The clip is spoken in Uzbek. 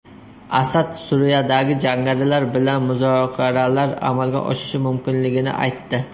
Asad Suriyadagi jangarilar bilan muzokaralar amalga oshishi mumkinligini aytdi.